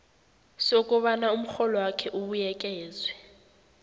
sokobana umrholwakho ubuyekezwe